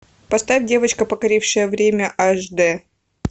поставь девочка покорившая время аш дэ